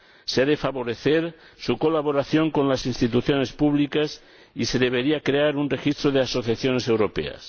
Se ha de favorecer su colaboración con las instituciones públicas y se debería crear un registro de asociaciones europeas.